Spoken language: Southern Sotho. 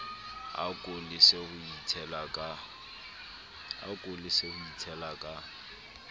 ako lese ho itshela ka